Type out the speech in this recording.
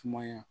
Sumaya